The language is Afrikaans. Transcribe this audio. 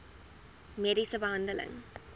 mediese behandeling